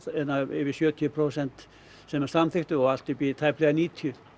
yfir sjötíu prósent sem að samþykktu og allt upp í tæplega níutíu